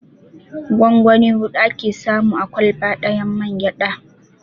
Gongoni huɗu ake samu a ƙwalba ɗayan mangyaɗa.